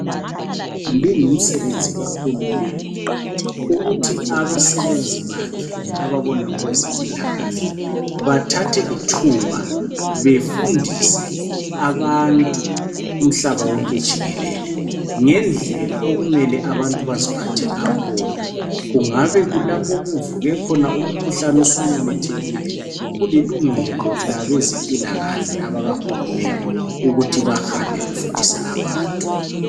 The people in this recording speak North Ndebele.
Kungumsebenzi kahulumende ukuthi abasebenzi bakhe ababona ngokwezempilakahle bathathe ithuba befundise abantu umhlaba wonke jikelele ngendlela okumele abantu baziphathe ngakhona. Kungabe kulapho okuvuke khona umkhuhlane osumemethekile kulilungelo labezempilakahle abakahulumende ukuthi bahambe befundisa abantu.